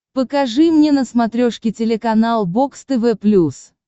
покажи мне на смотрешке телеканал бокс тв плюс